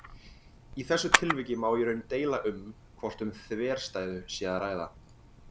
Í þessu tilviki má í raun deila um hvort um þverstæðu sé að ræða.